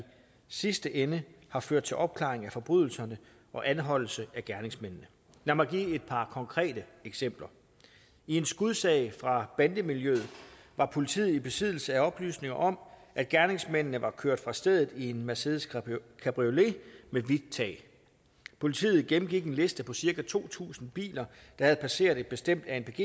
sidste ende har ført til opklaring af forbrydelserne og anholdelse af gerningsmændene lad mig give et par konkrete eksempler i en skudsag fra bandemiljøet var politiet i besiddelse af oplysninger om at gerningsmændene var kørt fra stedet i en mercedes cabriolet med hvidt tag politiet gennemgik en liste på cirka to tusind biler der havde passeret et bestemt anpg